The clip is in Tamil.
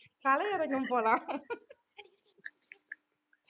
கலையரங்கம் போலாம்